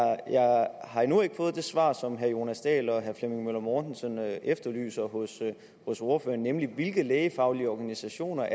har endnu ikke fået det svar som herre jonas dahl og herre flemming møller mortensen efterlyser hos hos ordføreren nemlig hvilke lægefaglige organisationer